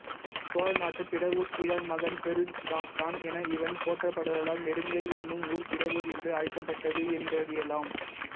சோழநாட்டு பிடவூர் கிழான் மகன் பெருஞ்சாத்தன் என இவன் போற்றப்படுதலால் நெடுங்கை என்னும் ஊர் பிடவூர் என்று அழைக்கப்பட்டது என்றறியலாம்